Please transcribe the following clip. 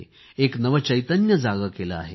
एक नवचैतन्य जागे केले आहे